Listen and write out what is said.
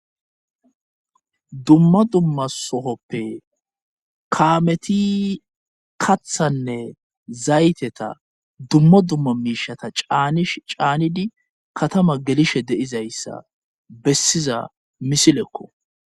dumma dumma sohoppe kaameti kathanne zayteta dumma dumma miishata cnshcaanidi katama gelishe deizayssa bessiza misilekko